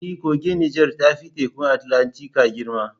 E, kogin Nijar ya fi Tekun Atlantika girma.